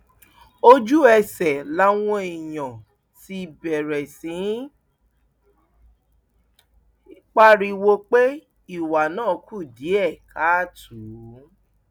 ojúẹsẹ làwọn èèyàn ti bẹrẹ sí í pariwo pé ìwà náà kù díẹ káàtó